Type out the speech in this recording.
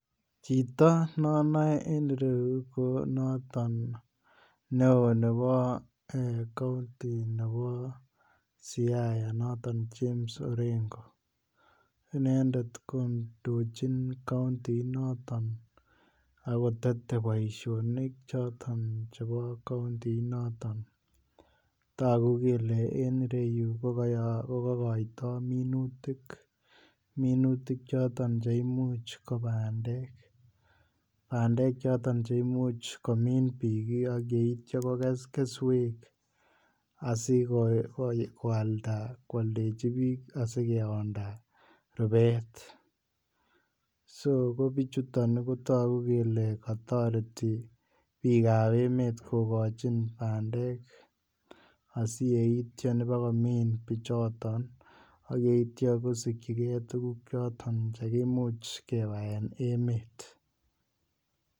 Chito nanane en ireuton ko noton ne on Nebo county Nebo Siaya noton kikuren James orengo inendetvkob ndochin county inoton akotete Baishonik choton chebo county inoton tagu kele en iyeyuton kokakaito minutik choton cheimuch bandek choton cheimuch komin bik ayeityo kokeskeswek asikoalda anana kwaldechi bik asikeyonda rubet ako bichuto kotagu kele katareti bik am emet kokachin bandek asiyeiton komin bichoton akyeityo kusiki gei tuguk chechoton chekimuc kewaen emet